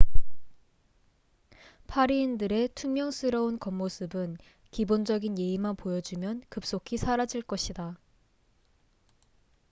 파리인들의 퉁명스러운 겉모습은 기본적인 예의만 보여주면 급속히 사라질 것이다